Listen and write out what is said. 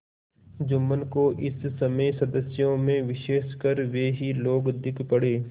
जुम्मन को इस समय सदस्यों में विशेषकर वे ही लोग दीख पड़े